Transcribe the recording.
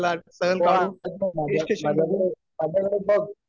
हो माझ्याकडे माझ्याकडे बघ